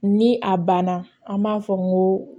Ni a banna an b'a fɔ n ko